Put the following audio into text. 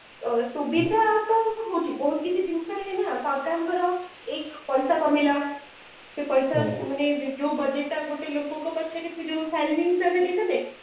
ତ ସୁବିଧା ତ ହୋଉଛି ବହୁତ କିଛି ଜିନିଷ କାଇଁ ନା ସରକାର ଙ୍କର ଏଇ ପଇସା କମେଇଲା ସେ ପଇସା ମାନେ ଯୋଉ ବଜେଟ ତ ଗୋଟେ ଲୋକଙ୍କ ପାଇଁ salary ହିସାବ ରେ ତ ଦେବେ